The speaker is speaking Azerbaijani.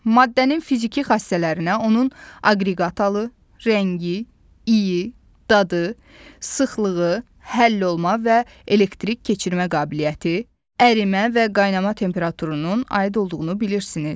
Maddənin fiziki xassələrinə onun aqreqat halı, rəngi, iyi, dadı, sıxlığı, həllolma və elektrik keçirmə qabiliyyəti, ərimə və qaynama temperaturunun aid olduğunu bilirsiniz.